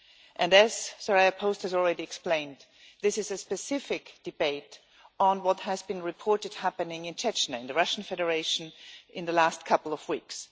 And as Soraya Post has already explained, this is a specific debate on what has been reported happening in Chechnya, in the Russian Federation, in the last couple of weeks.